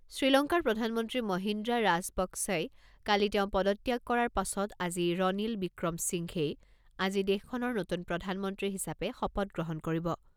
শ্ৰীলংকাৰ প্ৰধানমন্ত্ৰী মহিন্দ্ৰা ৰাজাপক্‌ছই কালি তেওঁ পদত্যাগ কৰাৰ পাছত আজি ৰনিল ৱিক্ৰম সিংঘেই আজি দেশখনৰ নতুন প্ৰধানমন্ত্ৰী হিচাপে শপত গ্ৰহণ কৰিব।